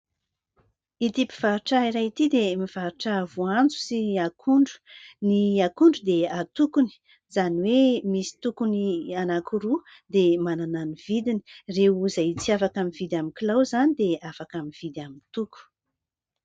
Ity mpivarotra iray ity dia mivarotra voanjo sy ny akondro. Ny akondro dia antokony izany hoe misy tokony anankiroa dia manana ny vidiny. Ireo izay tsy afaka mividy amin'ny kilao izany dia afaka mividy amin'ny toko.